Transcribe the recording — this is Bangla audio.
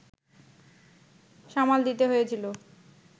সামাল দিতে হয়েছিল